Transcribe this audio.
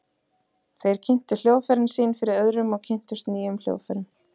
Þeir kynntu hljóðfærin sín fyrir öðrum og kynntust nýjum hljóðfærum.